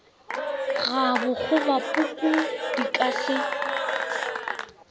ga bokgobapuku di ka se